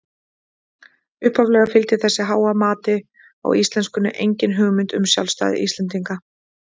Upphaflega fylgdi þessu háa mati á íslenskunni engin hugmynd um sjálfstæði Íslendinga.